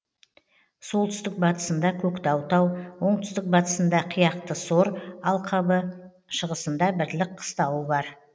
солтүстік батысында көктау тау оңтүстік батысында қияқты сор алқабы шығысында бірлік қыстауы бар